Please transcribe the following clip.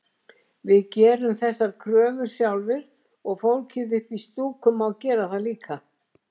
Við gerum þessar kröfur sjálfir og fólkið upp í stúku má gera það líka